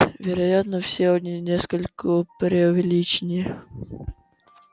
вероятно все они несколько преувеличены